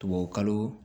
Tubabukalo